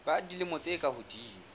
ba dilemo tse ka hodimo